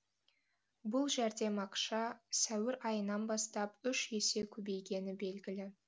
бұл жәрдем ақша сәуір айынан бастап үш есе көбейгені белгілі